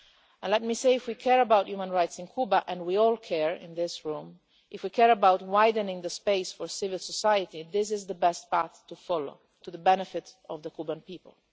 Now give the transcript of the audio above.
And let me say if we care about human rights in Cuba and we in this room all care if we care about widening the space for civil society, this is the best path to follow, to the benefit of the Cuban people.